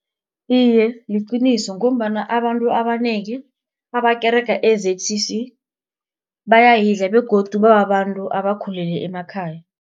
Iye, liqiniso ngombana abantu abanengi abakerega e-Z_C_C bayayidla begodu bababantu abakhule emakhaya.